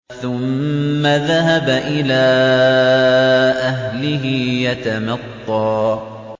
ثُمَّ ذَهَبَ إِلَىٰ أَهْلِهِ يَتَمَطَّىٰ